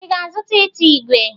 Ị ga-azụta ite ígwè?